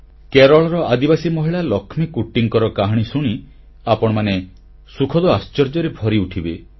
କେରଳର ଆଦିବାସୀ ମହିଳା ଳକ୍ଷ୍ମୀକୁଟ୍ଟୀଙ୍କ କାହାଣୀ ଶୁଣି ଆପଣମାନେ ସୁଖଦ ଆଶ୍ଚର୍ଯ୍ୟରେ ଭରିଉଠିବେ